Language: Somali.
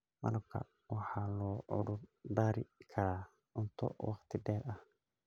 Malabka waxaa loo cudur daari karaa cunto waqti dheer ah.